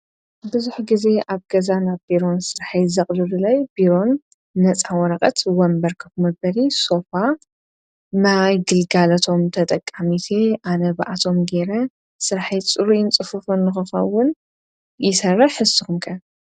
ብዙኅ ጊዜ ኣብ ገዛን ኣብ ቢሮን ሥርሐይት ዘቕዱድለይ ቢሮን ነፃ ወረቐት ወንበርከፍ መበሪ ሶፋ ማይ ግልጋለቶም ተጠቃሚት ኣነ ብኣቶም ገይረ ሥርሒይ ጽሩ ይንጽፉፉን ኖኸኸውን ይሠርር ሕስኹምከን::